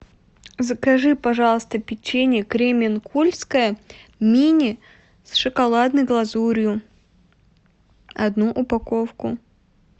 закажи пожалуйста печенье кременкульское мини с шоколадной глазурью одну упаковку